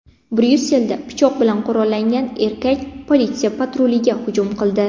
Bryusselda pichoq bilan qurollangan erkak politsiya patruliga hujum qildi.